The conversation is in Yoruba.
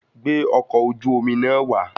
Gbé ọkọ̀ oju-omi náà wà